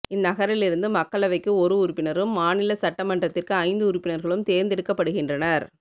இந்நகரிலிருந்து மக்களவைக்கு ஒரு உறுப்பினரும் மாநில சட்டமன்றத்திற்கு ஐந்து உறுப்பினர்களும் தேர்ந்தெடுக்கப்படுகின்றனர்